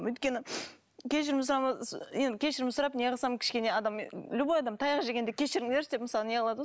өйткені кешірім енді кешірім сұрап не қылсам кішкене адам любой адам таяқ жегенде кешіріңдерші деп мысалы не қылады ғой